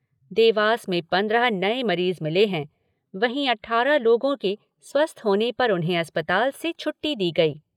देवास में पंद्रह नए मरीज़ मिले हैं, वहीं अठारह लोगों के स्वस्थ होने पर उन्हें अस्पताल से छुट्टी दी गई।